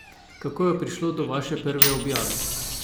Kako je prišlo do vaše prve objave?